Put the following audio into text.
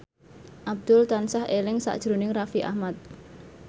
Abdul tansah eling sakjroning Raffi Ahmad